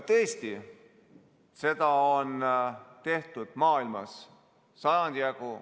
Tõesti, seda on tehtud maailmas sajandi jagu.